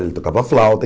Ele tocava flauta e.